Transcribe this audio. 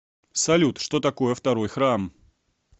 салют что такое второй храм